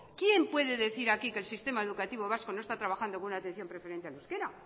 quién puede decir aquí que el sistema educativo vasco no está trabajando con una atención preferente al euskera